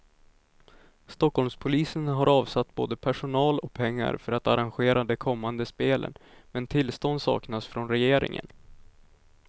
Stockholmspolisen har avsatt både personal och pengar för att arrangera de kommande spelen, men tillstånd saknas från regeringen.